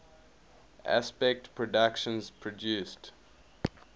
aspect productions produced